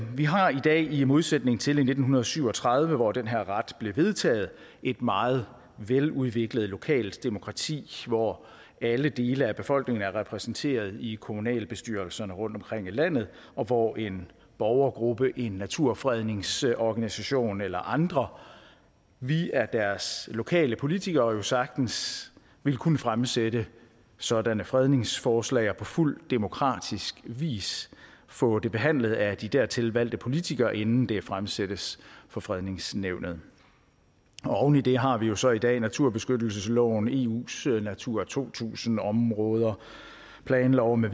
vi har i dag i modsætning til i nitten syv og tredive hvor den her ret blev vedtaget et meget veludviklet lokalt demokrati hvor alle dele af befolkningen er repræsenteret i kommunalbestyrelserne rundtomkring i landet og hvor en borgergruppe naturfredningsorganisation eller andre via deres lokale politikere jo sagtens vil kunne fremsætte sådanne fredningsforslag og på fuld demokratisk vis få dem behandlet af de dertil valgte politikere inden de fremsættes fra fredningsnævnet oven i det har vi jo så i dag naturbeskyttelsesloven eus natura to tusind områder planloven